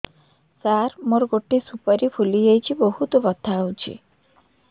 ସାର ମୋର ଗୋଟେ ସୁପାରୀ ଫୁଲିଯାଇଛି ବହୁତ ବଥା ହଉଛି